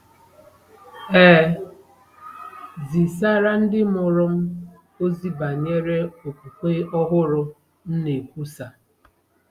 E zisara ndị mụrụ m ozi banyere okpukpe ọhụrụ m na-ekwusa.